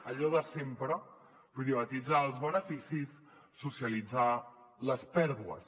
allò de sempre privatitzar els beneficis socialitzar les pèrdues